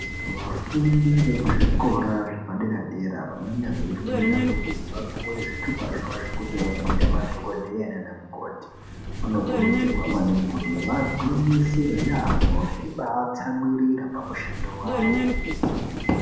Vafundi vekuzvikora zvepadera-dera vanenge veifunda kuti vapuwe zvitupa zvavo zvekuti vazoita madhokodheya naana mukoti, vanokurudzirwa maningi kuti vagwinyisire yaambo veibaatsamwirira pamushando wavowo.